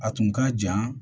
A tun ka jan